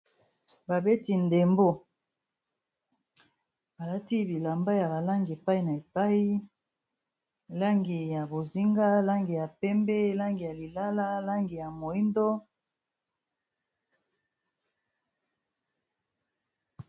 Babeti ndembo balati bilamba ya ba langi epai na epai langi ya bozinga langi ya pembe langi ya lilala langi ya moyindo.